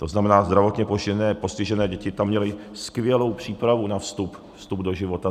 To znamená, zdravotně postižené děti tam měly skvělou přípravu na vstup do života.